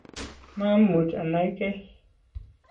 maamuch anaigei